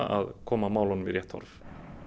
að koma málumum í rétt horf